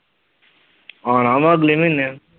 ਆਉਣਾ ਵਾ ਅਗਲੇ ਮਹੀਨੇ।